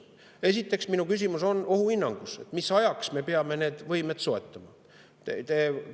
Esiteks on mu küsimus ohuhinnangus, mis ajaks me peame need võimed soetama.